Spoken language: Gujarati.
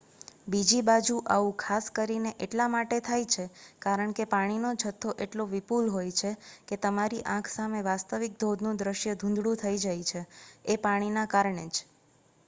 બીજી બાજુ આવું ખાસ કરીને એટલા માટે થાય છે કારણ કે પાણીનો જથો એટલો વિપુલ હોય છે કે તમારી આંખ સામે વાસ્તવિક ધોધનું દૃશ્ય ધૂંધળું થઈ જાય છે-એ પાણીના કારણે જ